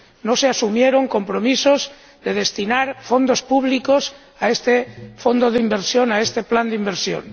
No se asumieron compromisos de destinar fondos públicos a este fondo de inversión, a este plan de inversión.